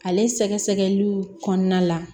Ale sɛgɛsɛgɛliw kɔnɔna la